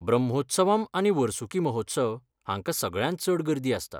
ब्रह्मोत्सवम् आनी वर्सुकी महोत्सव हांकां सगळ्यांत चड गर्दी आसता.